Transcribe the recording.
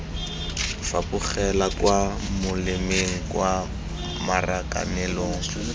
fapogela kwa molemeng kwa marakanelong